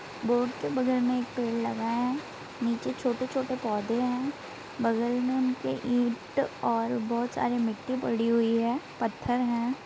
Board के बगल मे एक पेड़ लगा है नीचे छोटे-छोटे पौधे हैं बगल मे उनके ईट और बहोत सारे मिट्टी पड़ी हुई है पत्थर है।